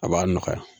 A b'a nɔgɔya